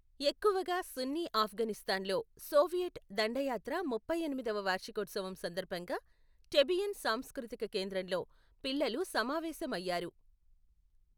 ఎక్కువగా సున్నీ ఆఫ్ఘనిస్తాన్లో సోవియట్ దండయాత్ర ముప్పై ఎనిమిదవ వార్షికోత్సవం సందర్భంగా టెబియన్ సాంస్కృతిక కేంద్రంలో పిల్లలు సమావేశమయ్యారు.